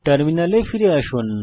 টার্মিনালে ফিরে আসুন